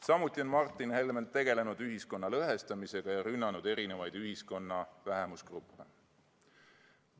Samuti on Martin Helme tegelenud ühiskonna lõhestamisega ja rünnanud ühiskonna erinevaid vähemusgruppe.